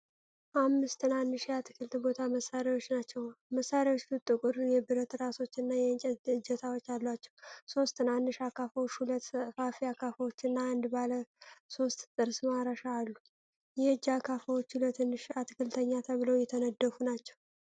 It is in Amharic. አምስት ትናንሽ የአትክልት ቦታ መሣሪያዎች ናቸው። መሣሪያዎቹ ጥቁር የብረት ራሶች እና የእንጨት እጀታዎች አሏቸው። ሦስት ትናንሽ አካፋዎች፣ ሁለት ሰፋፊ አካፋዎች እና አንድ ባለ ሦስት ጥርስ ማረሻ አሉ። የእጅ አካፋዎቹ ለትንሽ አትክልተኛ ተብለው የተነደፉ ናቸው።